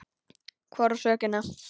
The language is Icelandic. Hvor á sökina?